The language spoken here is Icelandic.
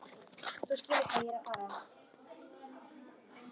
Þú skilur hvað ég er að fara.